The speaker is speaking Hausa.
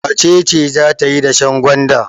Wace ce za ta yi dashen gwanda?